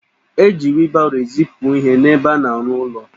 Eji wilbaro ezipu ihe n'ebe a na-arụ ụlọ